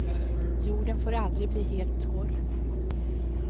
Jorden får aldrig bli helt torr.